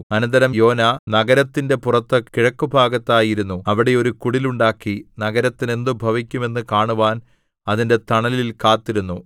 അനന്തരം യോനാ നഗരത്തിന്റെ പുറത്ത് കിഴക്കുഭാഗത്തായി ഇരുന്നു അവിടെ ഒരു കുടിലുണ്ടാക്കി നഗരത്തിന് എന്ത് ഭവിക്കും എന്നു കാണുവാൻ അതിന്റെ തണലിൽ കാത്തിരുന്നു